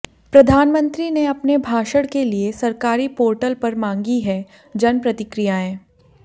प्रधानमंत्री ने अपने भाषण के लिए सरकारी पोर्टल पर मांगी हैं जन प्रतिक्रियाएं